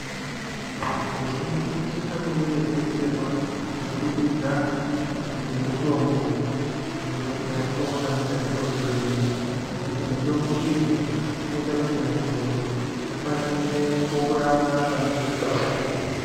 Vanhu vazhinji vanosise kunge veidetserwa kubudikidza ngemitombo yatinoona mukati mezvibhedhleya ngekuti mitombo iyi inoita kuti muntu akwanise kurapwa panenge peipanda.